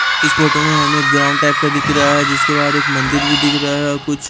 इस फोटो में हमें ग्राउंड टाइप का दिख रहा है जिसके बाहर एक मंदिर भी दिख रहा है और कुछ--